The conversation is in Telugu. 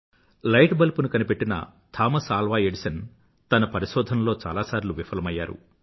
లైట్ బల్బ్ ను కనిపెట్టిన థామస్ ఆల్వా ఎడిసన్ తన పరిశోధనల్లో చాలాసార్లు విఫలమయ్యారు